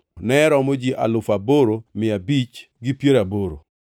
ne romo ji alufu aboro mia abich gi piero aboro (8,580).